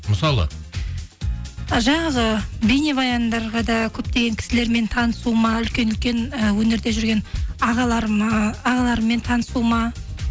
мысалы жаңағы бейнебаяндарға да көптеген кісілермен танысуыма үлкен үлкен і өнерде жүрген ағалырммен танысуыма